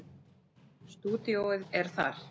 Stúdíóið er þar.